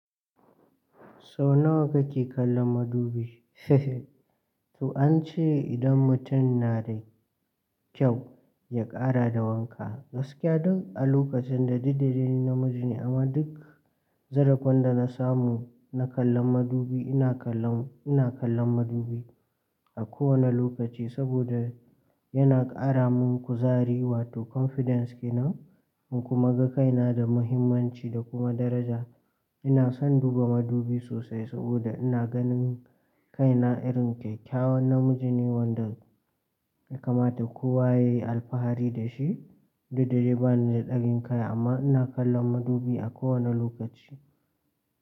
So nawa kake kallon madubi? To an ce idan mutum na da kyau, ya ƙara da wanka. Gaskiya duk a lokacin da dukda dai ni namiji ne amma duk zarafin da na samu na kallon madubi, ina kallon, ina kallon madubi a kowane lokaci saboda yana ƙara min kuzari wato confidence kenan in kuma ga kaina da muhimmanci da kuma daraja. Ina son duba madubi sosai saboda ina ganin kaina irin kyakyawan namiji ne wanda ya kamata kowa ya yi alfahari da shi. Dukda dai ba ni da ɗagin kai amma ina kallon madubi a kowane lokaci.